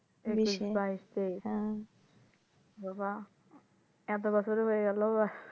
বিশে বাইশে বাবা এতো বছর হয়ে গেলো